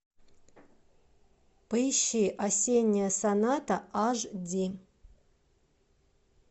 поищи осенняя соната аш ди